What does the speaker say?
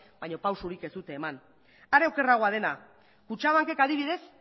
baina pausurik ez dute eman are okerragoa dena kutxabankek adibidez